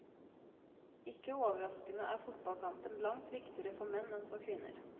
Ikke overraskende er fotballkampen langt viktigere for menn enn for kvinner.